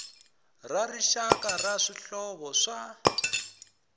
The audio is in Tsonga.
ra rixaka ra swihlovo swa